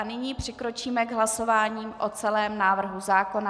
A nyní přikročíme k hlasování o celém návrhu zákona.